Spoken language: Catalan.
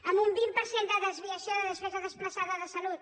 amb un vint per cent de desviació de despesa desplaçada de salut